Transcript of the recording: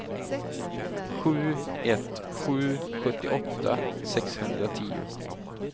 sju ett ett sju sjuttioåtta sexhundratio